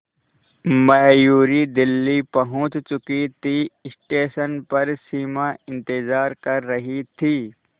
मयूरी दिल्ली पहुंच चुकी थी स्टेशन पर सिमा इंतेज़ार कर रही थी